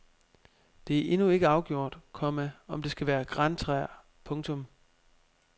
Det er endnu ikke afgjort, komma om det skal være grantræer. punktum